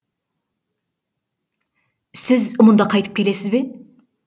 сіз мұнда қайтып келесіз бе